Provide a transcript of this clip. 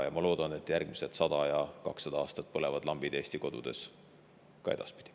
Ma loodan, et järgmisedki 100 ja ka 200 aastat lambid Eesti kodudes põlevad.